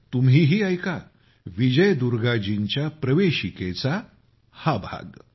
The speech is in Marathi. तुम्हीही ऐका विजय दुर्गाजींच्या प्रवेशिकेचा हा भाग